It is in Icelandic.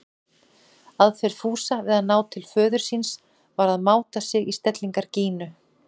Aðferð Fúsa við að ná til föður síns var að máta sig í stellingar Gínu.